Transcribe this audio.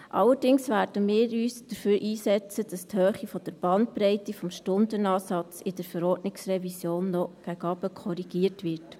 Allerdings werden wir uns dafür einsetzen, dass die Höhe der Bandbreite des Stundenansatzes in der Verordnungsrevision noch nach unten korrigiert wird.